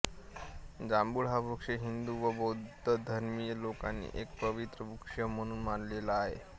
जांभूळ हा वृक्ष हिंदू व बौद्ध धर्मीय लोकांनी एक पवित्र वृक्ष म्हणून मानलेला आहे